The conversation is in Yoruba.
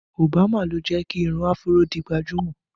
Obama ló jẹ́ kí irun áfúró di gbajúmọ̀